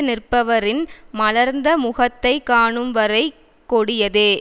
நிற்பவரின் மலர்ந்த முகத்தை காணும் வரை கொடியதே